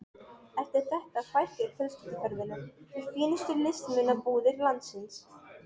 Eftir þetta fækkaði fjölskylduferðunum í fínustu listmunabúðir landsins.